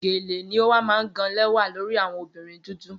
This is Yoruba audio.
gele ni o wa maa gan lẹwa lori awọn obirin dudu